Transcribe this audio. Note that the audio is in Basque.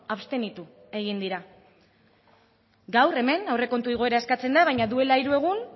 abstenitu egin dira gaur hemen aurrekontu igoera eskatzen da baina duela hiru egun